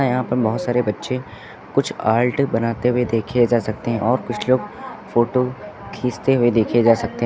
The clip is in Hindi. यहां पर बहोत सारे बच्चे कुछ आर्ट बनाते हुए देखे जा सकते हैं और कुछ लोग फोटो खींचते हुए देखे जा सकते--